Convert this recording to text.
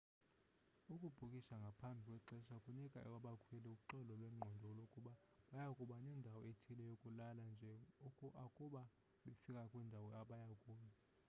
ukubhukisha ngaphambi kwexesha kunika abakhweli uxolo lwengqondo lokuba baya kuba nendawo ethile yokulala nje akuba befika kwindawo abaya kuyo